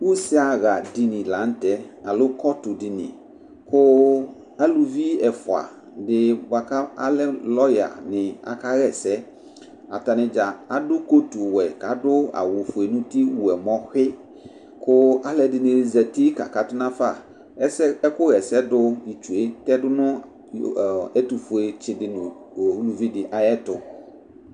Use aɣadini la nʋ tɛ, alo ƙɔtʋdini ƙʋ ,aluvi ɛfʋa alɛ mʋ lɔya nɩ aƙaɣa ɛsɛAtanɩ ɖza aɖʋ ƙotu wɛ,ƙ' adʋ awʋ fue nʋ uti wu ɛmɔ xɩƘʋ alʋ ɛɖɩnɩ zati ƙa katʋ nafaƐƙʋ ɣɛsɛɖʋ tsue tɛɖʋ nʋ ɛtʋfue tsɩ ɖɩ nʋ uvi dɩ aƴɛtʋ